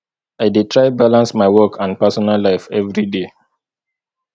i dey try balance my work and personal life every day